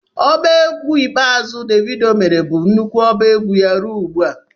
Oba egwu ikpeazụ Devido mere bụ nnukwu ọba egwu ya ruo ugbu a.